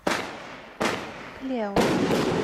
клео